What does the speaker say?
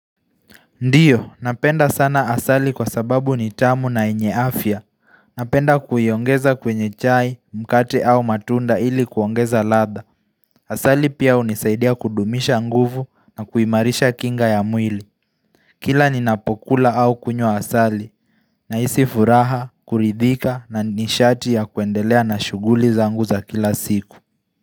Ndiyo, napenda sana asali kwa sababu ni tamu na yenye afya. Napenda kuiongeza kwenye chai, mkate au matunda ili kuongeza ladha. Asali pia hunisaidia kudumisha nguvu na kuimarisha kinga ya mwili. Kila ninapokula au kunywa asali, nahisi furaha, kuridhika na nishati ya kuendelea na shuguli zangu za kila siku.